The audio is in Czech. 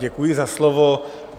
Děkuji za slovo.